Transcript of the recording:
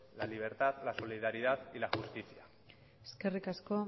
la libertad la solidaridad y la justicia eskerrik asko